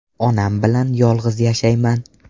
Onam bilan yolg‘iz yashayman.